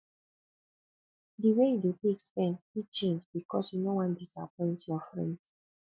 di way yu dey take spend fit change bikos yu no wan disappoint yur friends